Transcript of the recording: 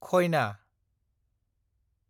खयना